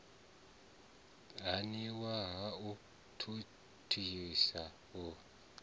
haniwa ha u thuthisa u